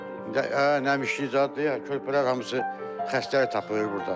Nə nəmişlik zadı körpələr hamısı xəstəlik tapır burda.